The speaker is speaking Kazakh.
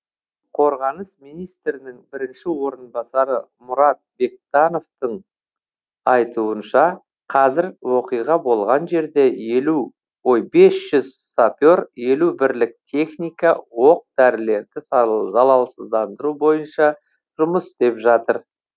қорғаныс министрінің бірінші орынбасары мұрат бектановтың айтуынша қазір оқиға болған жерде бес жүз сапер елу бірлік техника оқ дәрілерді залалсыздандыру бойынша жұмыс істеп жатыр